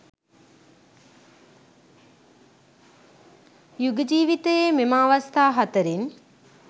යුග ජීවිතයේ මෙම අවස්ථා හතරෙන්